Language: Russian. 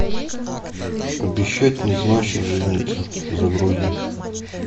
обещать не значит жениться загрузи